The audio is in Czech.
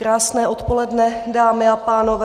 Krásné odpoledne, dámy a pánové.